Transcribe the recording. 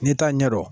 N'i t'a ɲɛdɔn